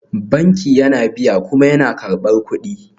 Banki yana biya kuma yana karɓar kuɗi